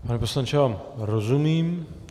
Pane poslanče, já vám rozumím.